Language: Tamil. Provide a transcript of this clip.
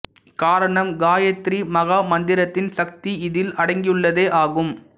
காரணம் காயத்ரி மகா மந்திரத்தின் சக்தி இதில் அடங்கியுள்ளதே ஆகும்